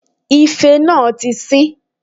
Ife náà tí sín